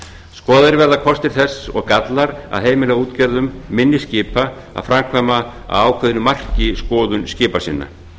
skoðaðir verða kostir þess og gallar að heimila útgerðum minni skipa að framkvæma að ákveðnu marki skoðun skipa sinna